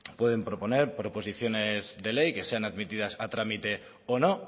pueden proponer proposiciones de ley que sean admitidas a trámite o no